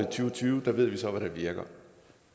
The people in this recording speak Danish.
og tyve ved vi så hvad der virker